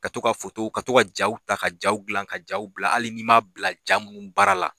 Ka to ka fotow ka to ka jaw ta ka jaw dilan ka jaw bila hali n'i ma bila ja mun baara la